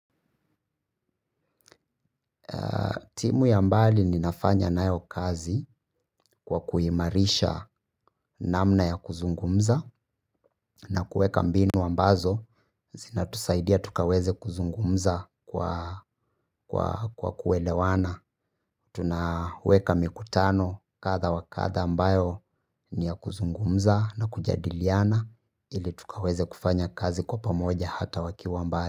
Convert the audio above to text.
Timu ya mbali ninafanya nayo kazi kwa kuhimarisha namna ya kuzungumza na kuweka mbinu ambazo zina tusaidia tukaweze kuzungumza kwa kuelewana. Tunaweka mikutano kadha wakadha ambayo ni ya kuzungumza na kujadiliana ili tukaweze kufanya kazi kwa pamoja hata wakiwa mbali.